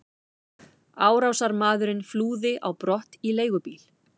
Árásarmaðurinn flúði á brott í leigubíl.